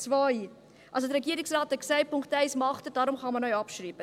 Der Regierungsrat hat gesagt, Punkt 1 mache er, deshalb könne man diesen auch abschreiben.